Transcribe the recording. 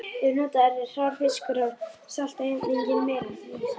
Ef notaður er hrár fiskur þarf að salta jafninginn meira.